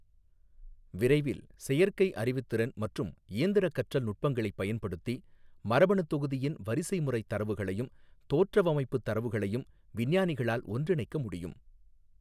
விரைவில், செயற்கை அறிவுத்திறன் மற்றும் இயந்திரக் கற்றல் நுட்பங்களைப் பயன்படுத்தி மரபணுத்தொகுதியின் வரிசைமுறைத் தரவுகளையும் தோற்றவமைப்புத் தரவுகளையும் விஞ்ஞானிகளால் ஒன்றிணைக்க முடியும்.